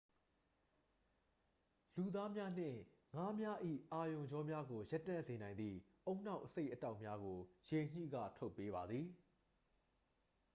လူသားများနှင့် ငါးများ၏ အာရုံကြောများကို ရပ်တန့်စေနိုင်သည့် ဦးနှောက်အဆိပ်အတောက်များကို ရေညှိက ထုတ်ပေးပါသည်